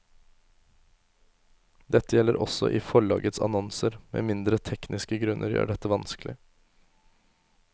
Dette gjelder også i forlagets annonser, med mindre tekniske grunner gjør dette vanskelig.